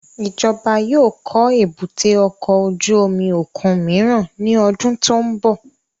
Ijọba yóò kọ èbúté ọkọ ojú omi okun miiran ni ọdun ti n bọ